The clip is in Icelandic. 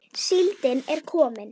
Síldin er komin!